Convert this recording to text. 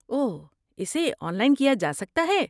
اوہ، اسے online کیا جا سکتا ہے؟